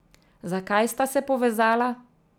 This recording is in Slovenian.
Zakaj sta se povezala?